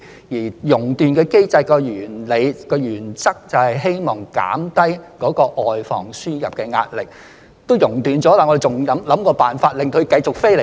因為"熔斷機制"的原理及原則，就是希望減低外防輸入的壓力，既然"熔斷"了，我們為何還要設法令她們繼續飛過來呢？